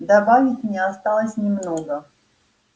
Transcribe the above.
добавить мне осталось немного